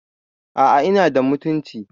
aa inada mutunci